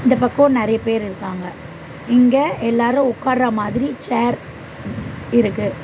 இந்த பக்கோ நெறைய பேர் இருக்காங்க இங்க எல்லாரு உட்கார மாதிரி சேர் இருக்கு.